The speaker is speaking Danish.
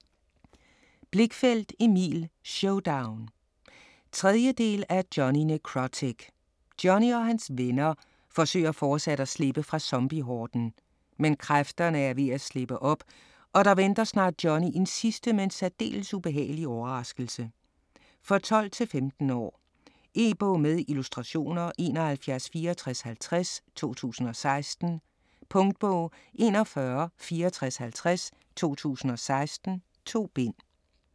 Blichfeldt, Emil: Showdown! 3. del af Jonny Nekrotic. Jonny og hans "venner" forsøger fortsat at slippe fra zombiehorden. Men kræfterne er ved at slippe op, og der venter snart Jonny en sidste, men særdeles ubehagelig, overraskelse. For 12-15 år. E-bog med illustrationer 716450 2016. Punktbog 416450 2016. 2 bind.